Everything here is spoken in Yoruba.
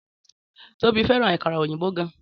Tóbi fẹ́ràn àkàrà òyìnbó gan.